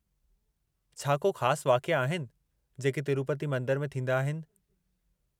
छा को ख़ासि वाक़िया आहिनि जेके तिरूपती मंदर में थींदा आहिनि?